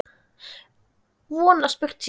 Von að spurt sé.